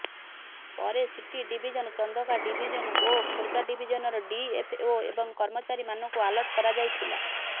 ପରେ city division Chandaka division ଓ ଖୋର୍ଦ୍ଧା ଡିଭିଜନର ଡିଏଫଓ ଏବଂ କର୍ମଚାରୀମାନଙ୍କୁ ଆଲର୍ଟ କରାଯାଇଥିଲା